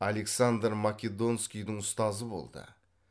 александр македонскийдің ұстазы болды